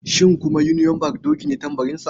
Shi kuma union bank doki ne tambarinsa.